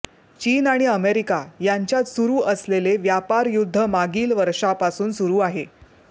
चीन आणि अमेरिका यांच्यात सुरू असलेले व्यापारयुद्ध मागील वर्षापासून सुरू आहे